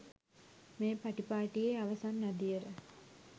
මේ පටිපාටියේ අවසන් අදියර